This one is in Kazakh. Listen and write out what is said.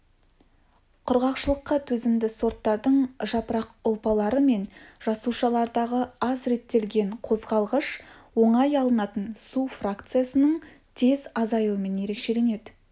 құрғақшылыққа төзімді сорттардың жапырақ ұлпалары мен жасушаларындағы аз реттелген қозғалғыш оңай алынатын су фракциясының тез азаюымен ерекшеленеді